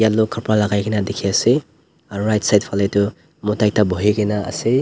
khapara lakai kena dikhiase aro right side falae toh mota ekta bohikena ase.